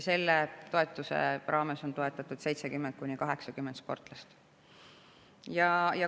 Selle toetuse raames on toetatud 70–80 sportlast.